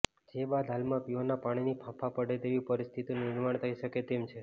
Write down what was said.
જે બાદ હાલમાં પીવાના પાણીના ફાંફા પડે તેવી પરિસ્થિતિનું નિર્માણ થઈ શકે તેમ છે